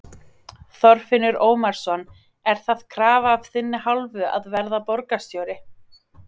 Þorfinnur Ómarsson: Er það krafa af þinni hálfu að verða borgarstjóri?